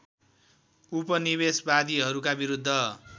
उपनिवेशवादीहरूका विरुद्ध